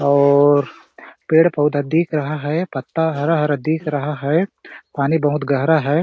और पेड़-पौधा दिख रहा है पत्ता हरा- हरा दिख रहा है पानी भोत गहरा हैं ।